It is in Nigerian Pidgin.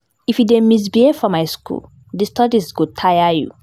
if you dey misbehave for my school, di studies go tire you